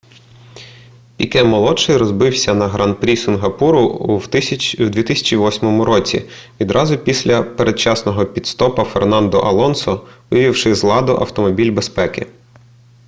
піке-молодший розбився на гран-прі сінгапуру в 2008 році відразу після передчасного піт-стопа фернандо алонсо вивівши з ладу автомобіль безпеки